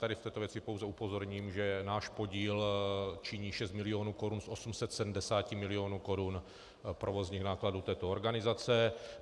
Tady v této věci pouze upozorním, že náš podíl činí 6 milionů korun z 870 milionů korun provozních nákladů této organizace.